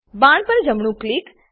બાણ પર જમણું ક્લિક